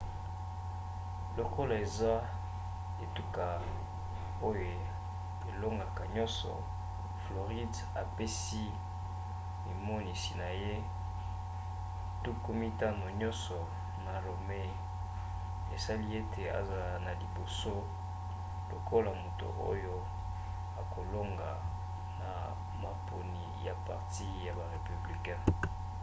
lokola aza etuka oyo elongoka nyonso floride apesi mimonisi na ye tuku mitano nyonso na romney esali ete azala na liboso lokola moto oyo akolonga na maponi ya parti ya ba républicain